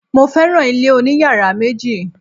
Mo féràn ilé oní yàrá méjì.